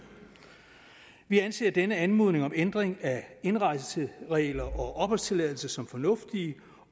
vi anser denne anmodning om ændring af indrejseregler og opholdstilladelse som fornuftig